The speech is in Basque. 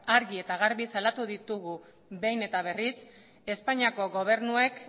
argi eta garbi salatu ditugu behin eta berriz espainiako gobernuak